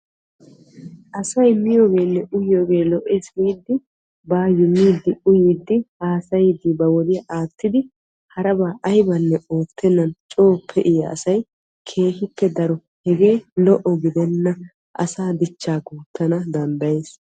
Asay miyoogenne uyiyoogee lo"ees giidi bayoo miidinne uyiidi baa wodiyaa aattidi harabaa aybanne oottenan coo pe"iyaa asay keehippe daro hegee lo"o gidenna. asaa dichchaa guuttana danddayees.